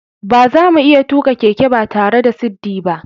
Bazamu iya tuka keke batare da siddi ba.